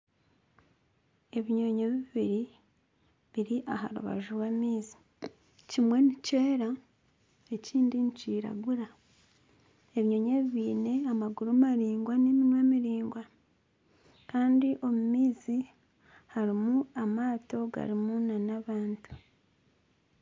Ebinyonyi bibiri biri aha rubaju rw'amaizi kimwe nikyera ekindi nikiragura , ebinyonyi ebi biine amaguru maraingwa n'eminwa miraingwa kandi omu maizi harimu amaato garimu nana abantu